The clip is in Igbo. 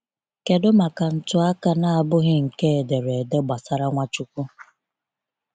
kedụ maka ntụaka na abụghị nke ederede gbasara Nwachukwu?